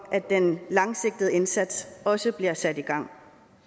at den langsigtede indsats også bliver sat i gang